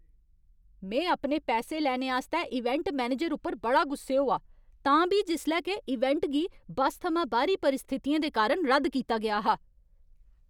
में अपने पैसे लैने आस्तै इवेंट मैनेजर उप्पर बड़ा गुस्से होआ, तां बी जिसलै के इवेंट गी बस थमां बाह्‌री परिस्थितियें दे कारण रद्द कीता गेआ हा।